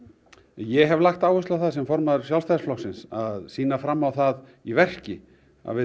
ég hef lagt áherslu á það sem formaður Sjálfstæðisflokksins að sýna fram á það í verki að við